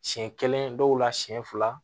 Siɲɛ kelen dɔw la siɲɛ fila